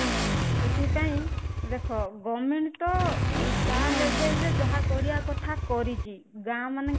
ସେଥିପାଇଁ government ତ ତା level ରେ ଯାହା କରିବା କଥା କରିଛି ଗାଁ ମାନଙ୍କରେ